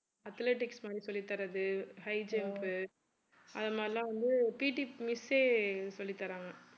athletics மாதிரி சொல்லித்தர்றது high jump உ அது மாதிரியெல்லாம் வந்து PT miss யே சொல்லி தர்றாங்க